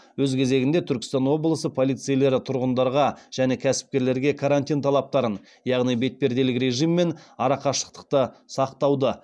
өз кезегінде түркістан облысы полицейлері тұрғындарға және кәсіпкерлерге карантин талаптарын яғни бетперделік режим мен арақашықтықты сақтауды